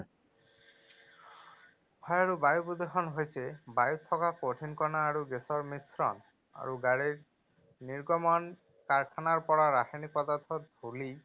হয়, আৰু বায়ু প্ৰদূষণ হৈছে বায়ুত থকা কঠিন কণা আৰু গেছৰ মিশ্ৰণ। আৰু গাড়ীৰ নিৰ্গমন, কাৰখানাৰ পৰা ৰাসায়নিক পদাৰ্থ, ধূলি,